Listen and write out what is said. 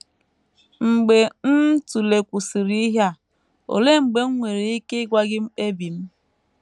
Mgbe m tụlekwusịrị ihe a, olee mgbe m nwere ike ịgwa gị mkpebi m?